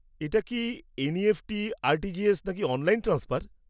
এটা কি NEFT, RTGS, নাকি অনলাইন ট্রান্সফার?